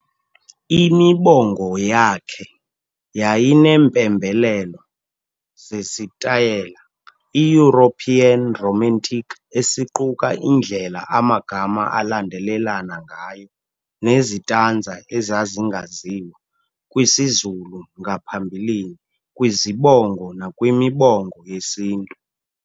Imibongo yakhe yayineempembelelo zesitayile i-European Romantic esiquka indlela amagama alandelelana ngayo nezitanza ezazingaziwa kwisiZulu ngaphambilini kwizibongo nakwimibongo yesiNtu.